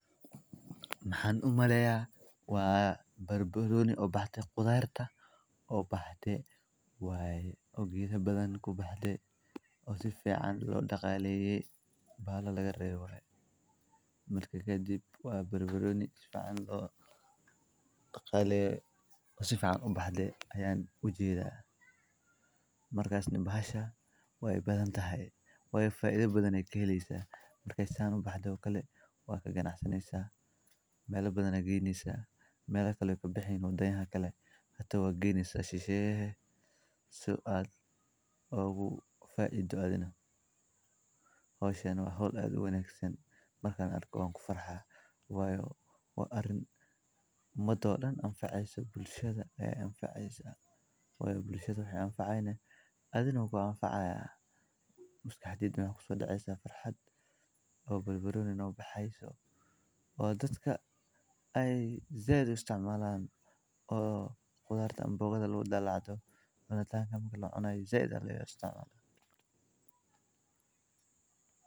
Maxan u maleyaa waa ged weyn oo khudaar ah kuwaas oo laga helo nafaqooyin muhiim ah sida fitamiinnada, macdanta, iyo antioxidants-ka. Waxa uu hoos fiican u sameeyaa oo lagu nasan karo xilliyada kulaylaha, sidoo kalena wuxuu u adeegaa sidii il dakhli u ah beeraleyda. Intaa waxaa dheer, geedkani wuxuu qayb ka yahay ilaalinta deegaanka, isagoo la dagaallama wasakheynta hawada iyo dabaysha xooggan. Geedka oo la beero, la daryeelo, lagana helo khudaar caafimaad leh, waa tusaale wanaagsan oo ka mid ah sida dabeecadda iyo bini’aadamku isugu adeegaan, khudarta oo canbogada loo dalacdo zaid aa u arka u fican tahay.